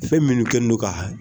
Fɛn minnu kɛnen don ka